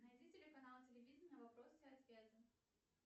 найди телеканал телевидения вопросы и ответы